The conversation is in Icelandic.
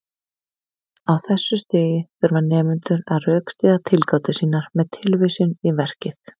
Á þessu stigi þurfa nemendur að rökstyðja tilgátur sínar með tilvísun í verkið.